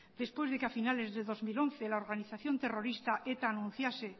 después de que a finales del dos mil once la organización terrorista eta anunciase